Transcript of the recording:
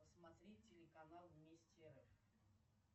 посмотреть телеканал вместе рф